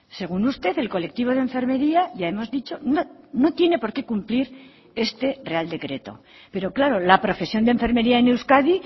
según usted el colectivo de enfermería ya hemos dicho no tiene por qué cumplir este real decreto pero claro la profesión de enfermería en euskadi